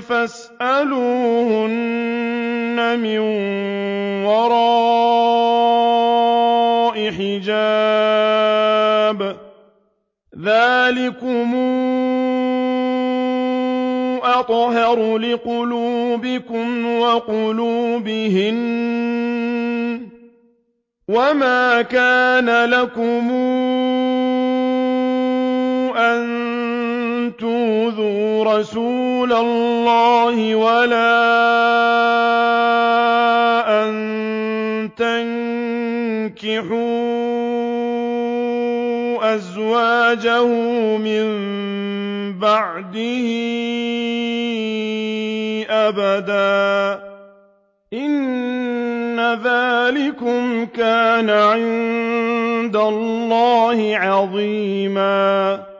فَاسْأَلُوهُنَّ مِن وَرَاءِ حِجَابٍ ۚ ذَٰلِكُمْ أَطْهَرُ لِقُلُوبِكُمْ وَقُلُوبِهِنَّ ۚ وَمَا كَانَ لَكُمْ أَن تُؤْذُوا رَسُولَ اللَّهِ وَلَا أَن تَنكِحُوا أَزْوَاجَهُ مِن بَعْدِهِ أَبَدًا ۚ إِنَّ ذَٰلِكُمْ كَانَ عِندَ اللَّهِ عَظِيمًا